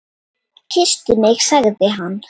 Kysstu mig sagði hann.